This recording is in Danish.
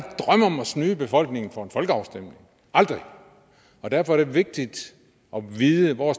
drømme om at snyde befolkningen for en folkeafstemning aldrig og derfor er det vigtigt at vide hvor